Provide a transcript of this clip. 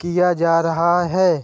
किया जा रहा है।